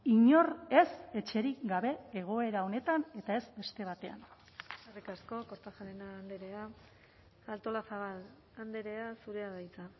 inor ez etxerik gabe egoera honetan eta ez beste batean eskerrik asko kortajarena andrea artolazabal andrea zurea da hitza